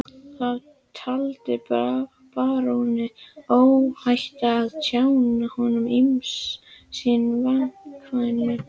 Þá taldi baróninn óhætt að tjá honum ýmis sín vandkvæði.